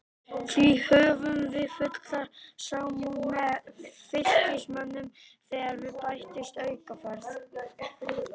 Því höfum við fulla samúð með Fylkismönnum þegar við bætist aukaferð.